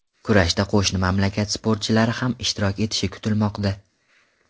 Kurashda qo‘shni mamlakat sportchilari ham ishtirok etishi kutilmoqda.